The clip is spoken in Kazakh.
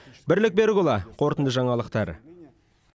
бірлік берікұлы қорытынды жаңалықтар